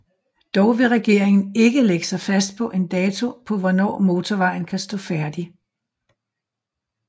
Dog vil regeringen ikke lægge sig fast på en dato på hvornår motorvejen kan stå færdig